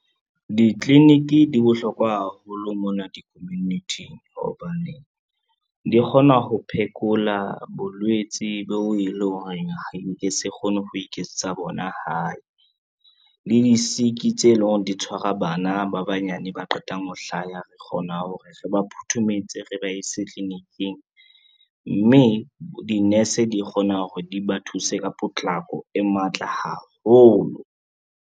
Ditliliniki di bohlokwa haholo mona di-community-ing hobane, di kgona ho phekola bolwetsi bo e leng hore nke se kgone ho iketsetsa bona hae. Le di-sick tse leng hore di tshwara bana ba banyane ba qetang ho hlaya re kgona hore re ba phuthumetse, re ba ise tliliniking, mme di-nurse di kgona hore di ba thuse ka potlako e matla haholo.